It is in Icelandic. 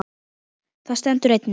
Þar stendur einnig